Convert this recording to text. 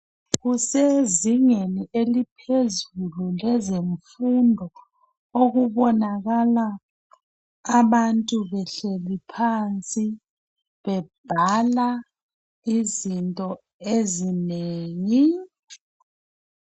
Kusezingeni eliphezulu kwezemfumdo okubonakala abantu behleli phansi bebhala izinto ezinengi.